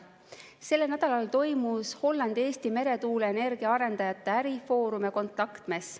Sellel nädalal toimus Hollandi ja Eesti meretuuleenergia arendajate ärifoorum ja kontaktmess.